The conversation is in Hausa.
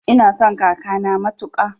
Ina son kakana matuƙa